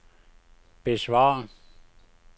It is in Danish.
besvar